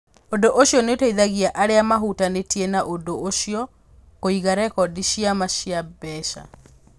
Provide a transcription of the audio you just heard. Ũndũ ũcio nĩ ũteithagia arĩa mahutanĩtie na ũndũ ũcio kũiga rekondi cia ma cia mbeca.